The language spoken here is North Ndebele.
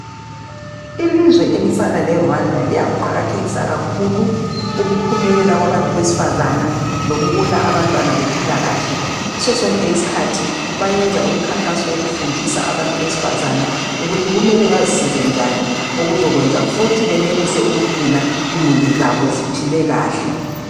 Ilizwe elifana leRwanda liyakuqakathekisa kakhulu ukuphumelela kwabantu besifazana lokubona abantwana bekhula kahle. Ngaso sonke isikhathi bayenza imikhankaso yokufundisa abantu besifazana ukuthi kumele bazisize njani okuzokwenza futhi benelise ukugcina imuli zabo ziphile kahle.